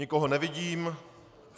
Nikoho nevidím.